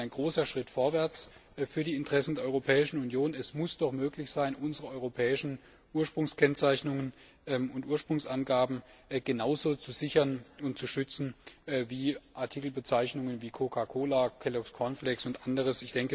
Ich denke, das ist ein großer Schritt vorwärts für die Interessen der Europäischen Union. Es muss doch möglich sein, unsere europäischen Ursprungskennzeichnungen und Ursprungsangaben genauso zu sichern und zu schützen wie Artikelbezeichnungen wie Coca Cola, Kelloggs Cornflakes und anderes.